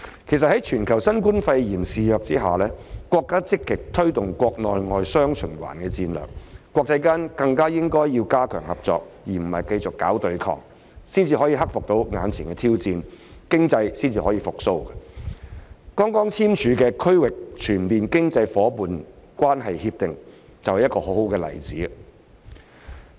其實，在新冠肺炎肆虐全球下，國家積極推動國內、外雙循環的戰略，國際間更應加強合作而不是繼續搞對抗，才能克服眼前的挑戰，經濟方可復蘇，剛簽署的《區域全面經濟夥伴關係協定》就是一個很好的例子。